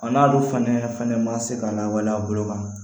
A n'ale fana ma se ka lawaleya a bolo kan